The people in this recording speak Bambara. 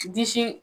Disi